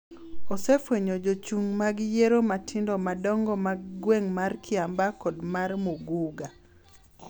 osefwenyo jochung' mag yiero matindo madongo mag gweng' mar Kiambaa kod mar Muguga,